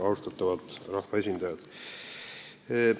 Austatavad rahvaesindajad!